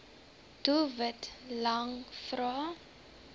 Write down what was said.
doelwit lang vrae